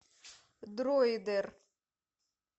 дройдер